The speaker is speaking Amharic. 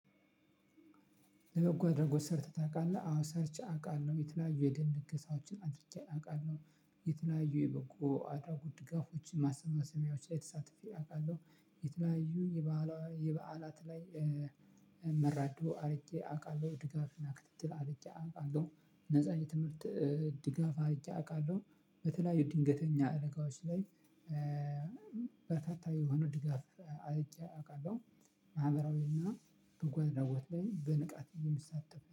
ለበጎ አድራጎት ሰርተህ ታውቃለህ? አዎ ሰርቼ አውቃለሁ የተለያዩ የደም ልገሳዎችን አድርጌ አውቃለሁ። የተለያዩ የበጎ አድራጎት ድጋፎችን ማሰባሰቢያዎች ላይ ተሳትፌ አውቃለሁ። የተለያዩ የበዓላት ላይ መረዶ አድርጌ አውቃለሁ ድጋፍና ክትትል አድርጌ አውቃለሁ። ነፃ የትምህርት ድጋፍ አርጌ አውቃለሁ። በተለያዩ ድንገተኛ አደጋዎች ላይ በተታየው የሆነ ድጋፍ አይቼ አውቃለሁ። ማህበራዊና በጎአድራጎት ላይ በንቃት ነው የምሳተፈው